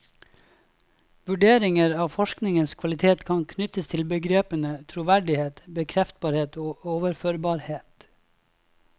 Vurderinger av forskningens kvalitet kan knyttes til begrepene troverdighet, bekreftbarhet og overførbarhet.